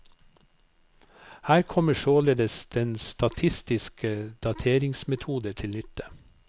Her kommer således den statistiske dateringsmetode til nytte.